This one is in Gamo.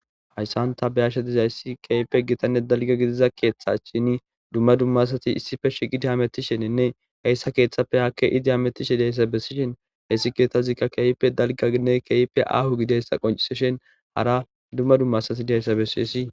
hayssan ta bayashe dizayssi keype gitanne dalga gidiza keeththa shini dumma dummasati issife shiqidi hamettisheninne eessa keeththapfe hakke idi hamettishe deyssa bessishen heyssi keethazikka keype dalgainne kepe ahu gideyssa qoncsishen hara dumma dummasati deyssa bessiessi